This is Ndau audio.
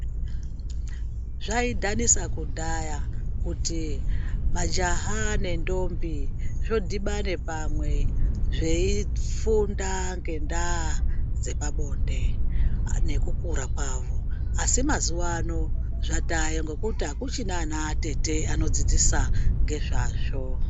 Zvaidhanisa kudhaya kuti majaha nendombi zvodhibane pamwe. Zveifunda ngendaa dzepabonde nekukura kwavo. Asi mazuva ano zvatayo nekuti hakuchina anatete anodzidzisa ngezvazvo.